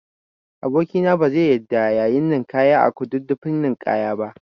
Aboki na bazai yarda yayi ninkaya a Kududdufin ninkaya ba